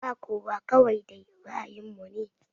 Ba kowa kawai dai ra'ayin mu ne